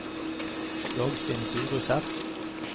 Dagfinn Furuseth